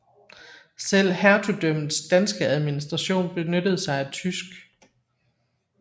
Selv hertugdømmets danske administration benyttede sig af tysk